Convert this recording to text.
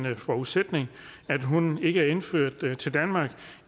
forudsætning at hunden ikke er indført til danmark